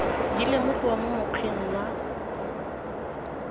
di lemogiwa mo mokgweng wa